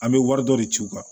An bɛ wari dɔ de ci u kan